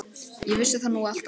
Ég vissi það nú alltaf.